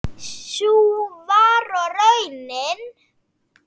Sú var og raunin.